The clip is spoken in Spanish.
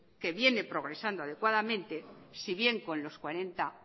que viene progresando adecuadamente si bien con los cuarenta